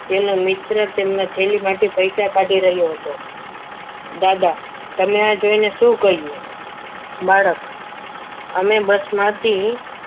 તેનો મિત્ર તેના માટે થેલીમાંથી પૈસા કાઢી રહ્યો હતો દાદા તમે આ જોઈને શું કહ્યું બાળક સામે bus માંથી